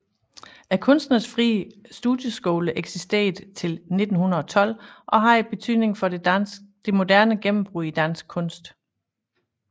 Kunstnernes Frie Studieskoler eksisterede til 1912 og havde betydning for Det moderne gennembrud i dansk kunst